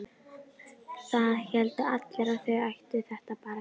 Það héldu allir að þau ættu þetta barn.